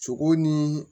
Sogow ni